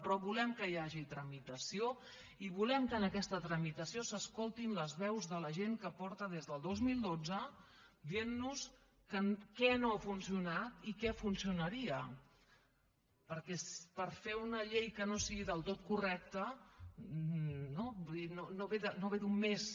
però volem que hi hagi tramitació i volem que en aquesta tramitació s’escoltin les veus de la gent que porta des del dos mil dotze dient nos què no ha funcionat i perquè per fer una llei que no sigui del tot correcta no vull dir no ve d’un mes